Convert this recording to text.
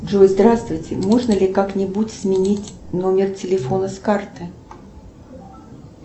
джой здравствуйте можно ли как нибудь сменить номер телефона с карты